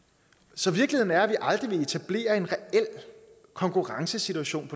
så virkeligheden er at vi aldrig vil etablere en reel konkurrencesituation